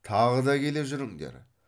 тағы да келе жүріңдер